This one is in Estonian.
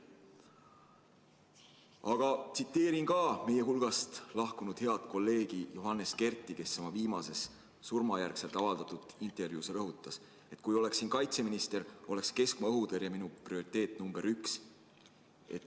Aga ma tsiteerin meie hulgast lahkunud head kolleegi Johannes Kerti, kes oma viimaseks jäänud intervjuus rõhutas, et kui ta oleks kaitseminister, siis oleks keskmaa-õhutõrje tema prioriteet number üks.